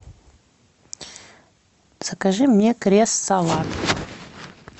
закажи мне кресс салат